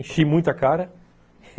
Enchi muita a cara.